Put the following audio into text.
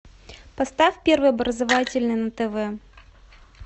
поставь первый образовательный на тв